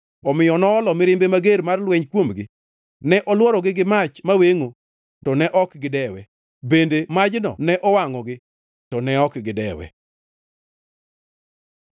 Omiyo noolo mirimbe mager mar lweny kuomgi. Ne olworogi gi mach mawengʼo to ne ok gidewe; bende majno ne owangʼogi to ne ok gidewe.